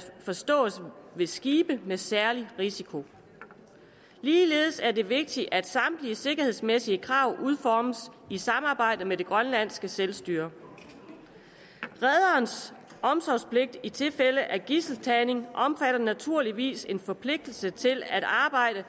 forstås ved skibe med særlig risiko ligeledes er det vigtigt at samtlige sikkerhedsmæssige krav udformes i samarbejde med det grønlandske selvstyre rederens omsorgspligt i tilfælde af gidseltagning omfatter naturligvis en forpligtelse til at arbejde